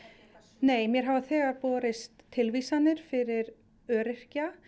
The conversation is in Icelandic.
nei mér hafa þegar borist tilvísanir fyrir öryrkja